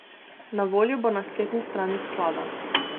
Na voljo bo na spletni strani sklada.